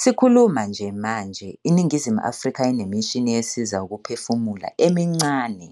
Sikhuluma nje manje, iNingizimu Afrika inemishini esiza ukuphefumula emincane